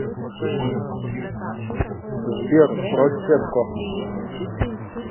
сбер просекко